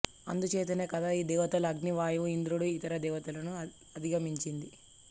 అందుచేతనే కదా ఈ దేవతలు అగ్ని వాయువు ఇంద్రుడు ఇతర దేవతలను అధిగమించింది